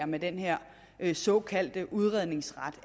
med den her her såkaldte udredningsret